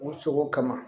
U cogo kama